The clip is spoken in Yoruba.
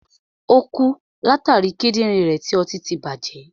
Ò kú látàri Kídìnrín rẹ̀ tí ọtí tí bàjẹ́.